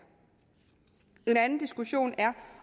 en anden diskussion er